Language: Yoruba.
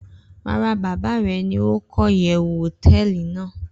Rara, baba re ni oko iyewu hoteeli nàá